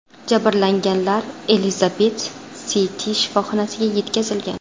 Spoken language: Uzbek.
Jabrlanganlar Elizabet-Siti shifoxonasiga yetkazilgan.